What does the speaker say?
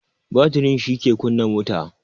Batiri shi ke kunna mota